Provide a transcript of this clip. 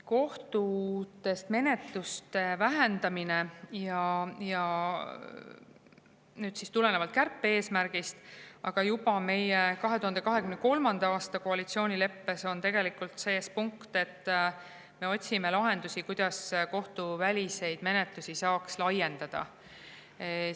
Kohtutes menetluste vähendamine tuleneb nüüd ka kärpe-eesmärgist, aga juba meie 2023. aasta koalitsioonileppes on sees punkt, et me otsime lahendusi, kuidas kohtuväliseid menetlusi saaks laiendada.